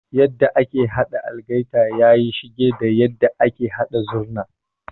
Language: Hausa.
Yadda ake haɗa algaita yayi shige da yadda ake haɗa Zurna.